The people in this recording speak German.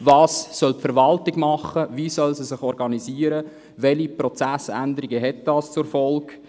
Was soll die Verwaltung tun, wie soll sie sich organisieren, und welche Prozessänderungen hat dies zur Folge?